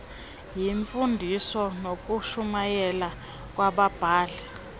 yimfundiso nokushumayela kwababhali